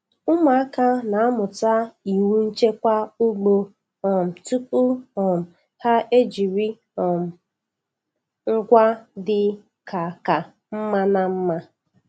Ụmụaka na-amụta iwu nchekwa ugbo um tupu um ha ejiri um ngwa dị ka ka mma na mma.